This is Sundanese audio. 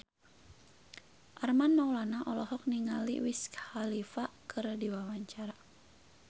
Armand Maulana olohok ningali Wiz Khalifa keur diwawancara